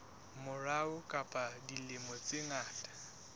morao ka dilemo tse ngata